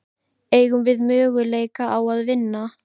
Eigum við möguleika á að vinna?